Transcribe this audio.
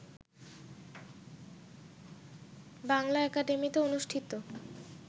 বাংলা একাডেমিতে অনুষ্ঠিত